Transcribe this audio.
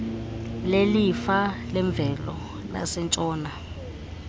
lelifa lemvelo lasentshona